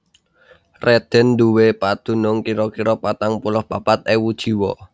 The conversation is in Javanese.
Rheden nduwé padunung kira kira patang puluh papat ewu jiwa